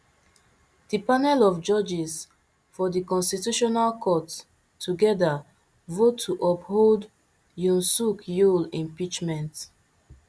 di panel of judges for di constitutional court togeda vote to uphold yoon suk yeol impeachment